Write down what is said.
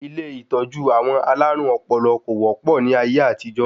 Ilé ìtọ́jú àwọn alárùn ọpọlọ kò wọ́pọ̀ ní ayé àtijó